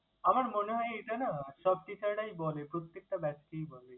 আমার মনে হয় এটা না সব teacher রাই বলে, প্রত্যেকটা batch কেই বলে।